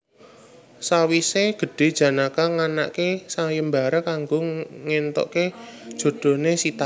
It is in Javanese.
Sawise gedhe Janaka nganakake sayembara kanggo ngentuke jodhone Sita